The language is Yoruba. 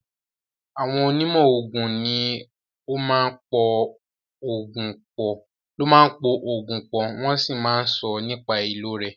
Àwọn onímọ̀ oògùn ní o máa ń po oògùn pọ̀, wọ́n sì máà ń sọ nípa ìlò rẹ̀.